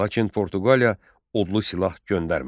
Lakin Portuqaliya odlu silah göndərmədi.